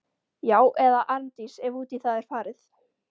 Já- eða Arndís, ef út í það er farið.